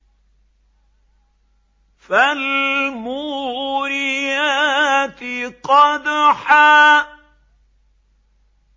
فَالْمُورِيَاتِ قَدْحًا